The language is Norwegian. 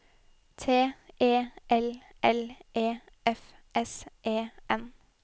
T E L L E F S E N